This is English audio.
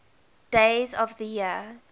days of the year